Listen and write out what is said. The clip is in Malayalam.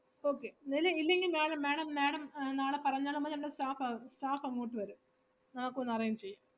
okay ഇല്~ ഇല്ലെങ്കി madam madam madam നാളെ പറഞ്ഞാലും മതി നമ്മള staff അ~ staff അങ്ങോട്ട് വരും, അതൊക്കെ ഒന്ന് arrange ചെയ്യും